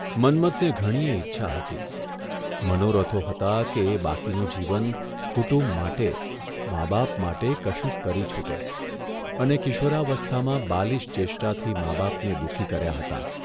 મન્મથને ઘણીય ઇચ્છા હતી, મનોરથો હતા કે એ બાકીનું જીવન કુટુંબ માટે, મા બાપ માટે કશુંક કરી છૂટે અને કિશોરાવસ્થામાં બાલીશ ચેષ્ટાથી મા બાપને દુખી કર્યા હતાં.